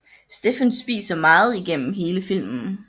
Stefan spiser meget igennem hele filmen